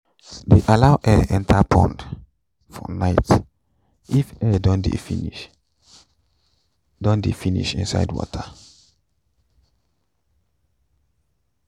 de allow air enter inside pond for night if air don de finish don de finish inside water